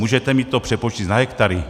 Můžete mi to přepočíst na hektary?